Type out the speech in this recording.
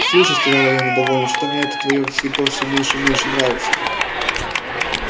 слушай сказала я недовольно что-то мне это твоё фидо все меньше и меньше нравится